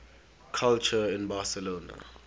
culture in barcelona